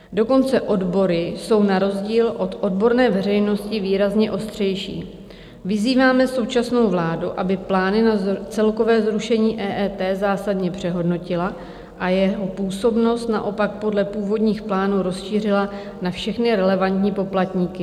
Dokonce odbory jsou na rozdíl od odborné veřejnosti výrazně ostřejší: "Vyzýváme současnou vládu, aby plány na celkové zrušení EET zásadně přehodnotila a jeho působnost naopak podle původních plánů rozšířila na všechny relevantní poplatníky.